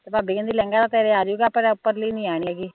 ਤੇ ਭਾਬੀ ਕਹਿੰਦੀ ਲਹਿੰਗਾ ਤਾਂ ਤੇਰੇ ਆ ਜਾਊਗਾ ਪਰ ਉਪਰਲੀ ਨੀ ਆਉਣੀ ਹੈਗੀ